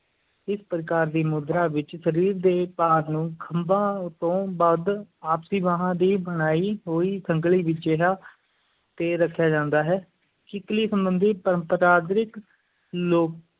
ਇਸ ਪ੍ਰਕਾਰ ਦੀ ਮੁਦਰਾ ਵਿੱਚ ਸਰੀਰ ਦੇ ਭਾਰ ਨੂੰ ਖੰਭਾਂ ਤੋਂ ਵੱਧ ਆਪਸੀ ਬਾਂਹਾਂ ਦੀ ਬਣਾਈ ਹੋਈ ਸੰਗਲੀ ਜਿਹਾ ਤੇ ਰੱਖਿਆ ਜਾਂਦਾ ਹੈ, ਕਿੱਕਲੀ ਸੰਬੰਧੀ ਪਰੰਪਰਾਦਾਇਕ ਲੋਕ